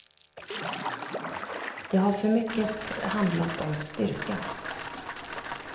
Det har för mycket handlat om styrka.